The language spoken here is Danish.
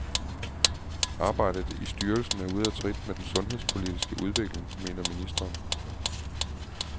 Arbejdet i styrelsen er ude af trit med den sundhedspolitiske udvikling, mener ministeren.